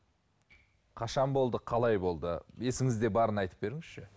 қашан болды қалай болды есіңізде барын айтып беріңізші